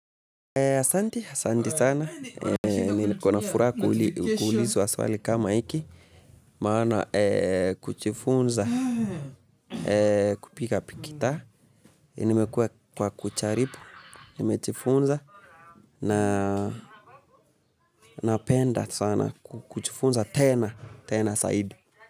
Asante sana, niko na furaha kuulizwa swali kama hiki, maana kujifunza kupiga gita, nimejaribu, nimejifunza na napenda sana kujifunza tena, tena saidi.